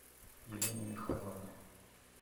елене михайловне